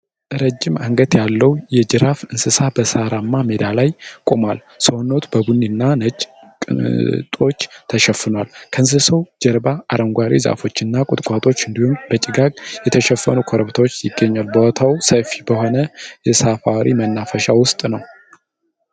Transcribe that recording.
ረዥም አንገት ያለው የ"ጂራፍ" እንስሳ በሳርማ ሜዳ ላይ ቆሟል። ሰውነቱ በቡኒ እና ነጭ ቅጦች ተሸፍኗል። ከእንስሳው ጀርባ አረንጓዴ ዛፎች እና ቁጥቋጦዎች እንዲሁም በጭጋግ የተሸፈኑ ኮረብታዎች ይገኛሉ። ቦታው ሰፊ በሆነ የሳፋሪ መናፈሻ ውስጥ ነው።